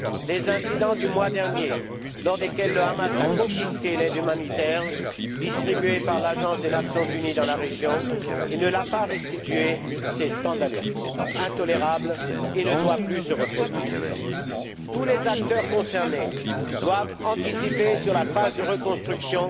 Les incidents du mois dernier, au cours desquels le Hamas a confisqué l'aide humanitaire distribuée par l'Agence des Nations unies dans la région et ne l'a pas restituée, sont scandaleux, intolérables et ne doivent plus se reproduire. Tous les acteurs concernés doivent préparer la phase de reconstruction